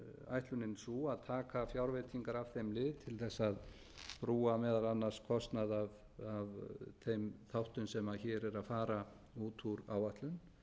ætlunin sú að taka fjárveitingar af þeim lið til þess að brúa meðal annars kostnað af þeim þáttum sem hér eru að fara út úr áætlun